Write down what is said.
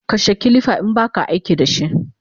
Kashe kilifa inbaka aikidashi!